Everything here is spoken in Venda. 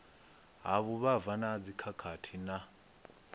ha vhuvhava na dzikhakhathi na